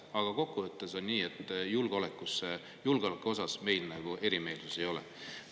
Aga kokkuvõttes on nii, et julgeoleku osas meil erimeelsusi ei ole.